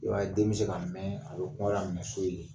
I b'a ye den bɛ se ka mɛn a bɛ kɔngɔ laminɛ so yen